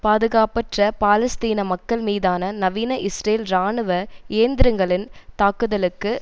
பாதுகாப்பற்ற பாலஸ்தீன மக்கள் மீதான நவீன இஸ்ரேல் இராணுவ இயந்திரங்களின் தாக்குதலுக்கு